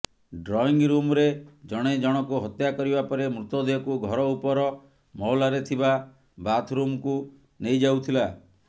drawing ରୁମ୍ରେ ଜଣ ଜଣକୁ ହତ୍ୟା କରିବା ପରେ ମୃତଦେହକୁ ଘର ଉପର ମହଲାରେ ଥିବା ବାଥ୍ରୁମ୍କୁ ନେଇଯାଉଥିଲା